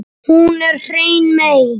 Hún er hrein mey.